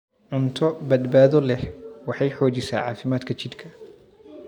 Cunto badbaado leh waxay xoojisaa caafimaadka jidhka.